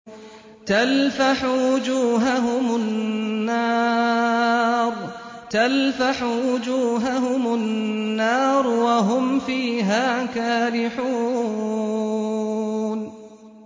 تَلْفَحُ وُجُوهَهُمُ النَّارُ وَهُمْ فِيهَا كَالِحُونَ